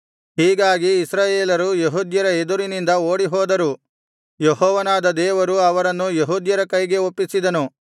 ಹೀಗಾಗಿ ಇಸ್ರಾಯೇಲರು ಯೆಹೂದ್ಯರ ಎದುರಿನಿಂದ ಓಡಿಹೋದರು ಯೆಹೋವನಾದ ದೇವರು ಅವರನ್ನು ಯೆಹೂದ್ಯರ ಕೈಗೆ ಒಪ್ಪಿಸಿದನು